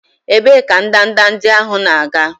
Ebee ka ndanda ndị ahụ na-aga?